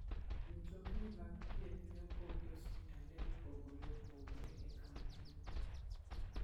Mtokni mag thieth ne opog ne osiptande mopogore opogore e kauntino.